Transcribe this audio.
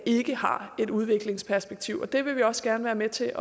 ikke har et udviklingsperspektiv og det vil vi også gerne være med til